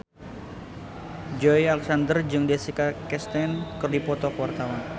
Joey Alexander jeung Jessica Chastain keur dipoto ku wartawan